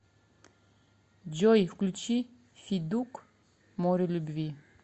джой включи федук море любви